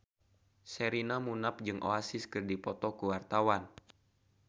Sherina Munaf jeung Oasis keur dipoto ku wartawan